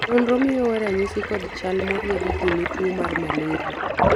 nonro miyowa ranyisi kod chal moriedi gi ne tuo mar malraia